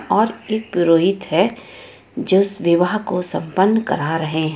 और एक पुरोहित है जो इस विवाह को संपन्न करा रहे हैं.